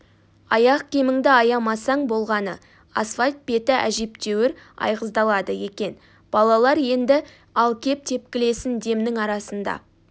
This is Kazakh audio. аяқ киіміңді аямасаң болғаны асфальт беті әжептәуір айғыздалады екен балалар енді ал кеп тепкілесін демнің арасында